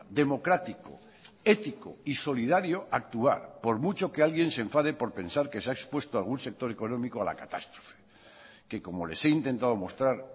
democrático ético y solidario actuar por mucho que alguien se enfade por pensar que se ha expuesto a algún sector económico a la catástrofe que como les he intentado mostrar